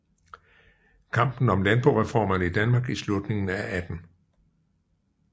Kampen om Landboreformerne i Danmark i Slutningen af 18